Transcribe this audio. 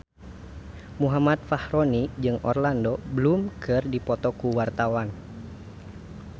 Muhammad Fachroni jeung Orlando Bloom keur dipoto ku wartawan